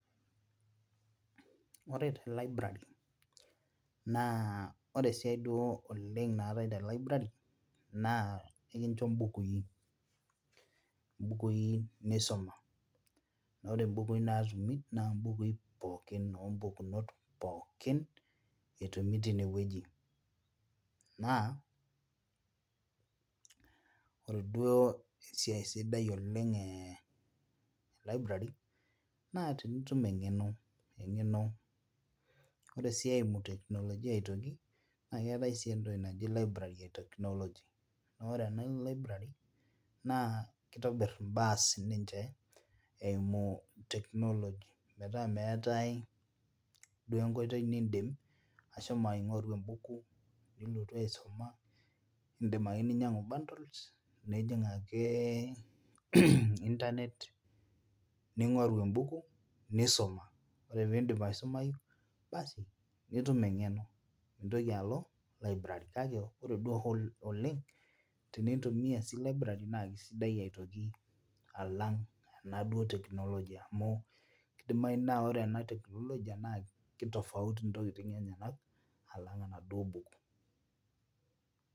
Ore te library naa ore esiai duo oleng naatae te library naa ekincho imbukui imbukui nisoma naa ore imbukui natumi naa imbukui pookin ompukunot pookin etumi tinewueji naa ore duo esiai sidai oleng eh e library naa tinitum eng'eno eng'eno ore sii eimu teknolojia aitoki naa keetae sii entoki naji library e technology noore ena library naa kitobirr imbaa sininche eimu technology metaa meetae duo enkoitoi nindim ashomo aing'oru embuku nilotu aisuma indim ake ninyiang'u bundles neijing ake internet ning'oru embuku nisoma ore pindipi aisumayu basi nitum eng'eno mintoki alo library kake ore duo hoo oleng tenintumia sii libaray naa kisidai aitoki alang ena duo technology amu kidimai naa ore ena teknolojia naa ki tofauti intokiting enyenak alang enaduo buku.